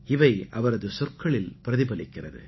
இவை அவரது சொற்களில் பிரதிபலிக்கிறது